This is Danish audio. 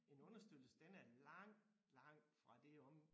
En understøttelse den er langt langt fra det om